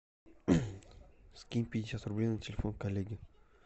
скинь пятьдесят рублей на телефон коллеги